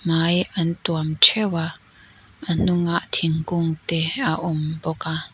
hmai an tuam ṭheuh a a hnungah thingkung te a awm bawk a.